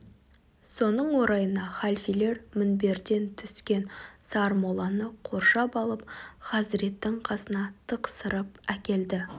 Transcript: соның орайына халфелер мінберден түскен сармолланы қоршап алып хазіреттің қасына тықсырып әкелді